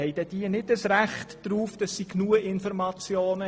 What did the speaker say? Haben die Stimmberechtigten kein Anrecht auf ausreichende Informationen?